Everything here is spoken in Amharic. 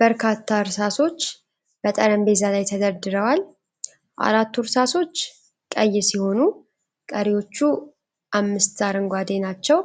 በርካታ እርሳሶች በጠረጴዛ ላይ ተደርድረዋል። አራቱ እርሳሶች ቀይ ሲሆኑ፣ ቀሪዎቹ አምስቱ አረንጓዴ ናቸው።